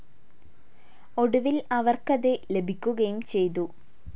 ഒടുവിൽ അവർക്ക് അത് ലഭിക്കുകയും ചെയ്തു.